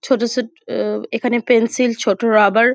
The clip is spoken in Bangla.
ছোট ছোট উহ এখানে পেন্সিল ছোট রবার ।